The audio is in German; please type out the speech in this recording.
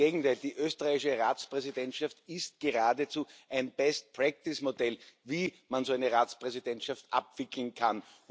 Im Gegenteil Die österreichische Ratspräsidentschaft ist geradezu ein Modell, wie man so eine Ratspräsidentschaft abwickeln kann.